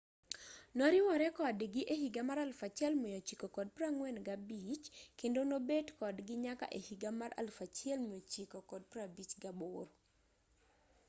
noriwore kodgi e higa mar 1945 kendo nobet kodgi nyaka e higa mar 1958